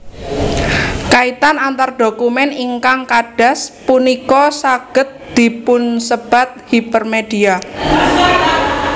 Kaitan antar dokumen ingkang kadas punika saged dipunsebat hipermedia